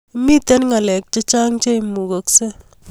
Mito ngalek chechang che imugaksei